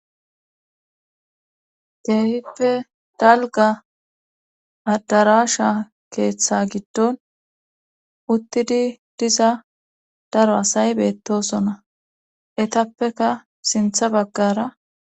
Keehippe dalgga addarasha keeththa giddon uttidii diza daro asay beettosona eettappeka sinththa baggara